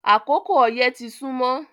Akókò oyẹ́ tì sùnmọ